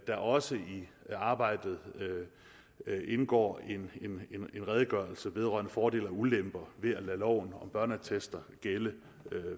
der også i arbejdet indgår en redegørelse vedrørende fordele og ulemper ved at lade loven om børneattester gælde